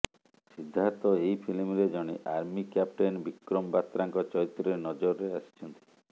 ସିଦ୍ଧାର୍ଥ ଏହି ଫିଲ୍ମରେ ଜଣେ ଆର୍ମି କ୍ୟାପଟେନ୍ ବିକ୍ରମ ବାତ୍ରାଙ୍କ ଚରିତ୍ରରେ ନଜରରେ ଆସିଛନ୍ତି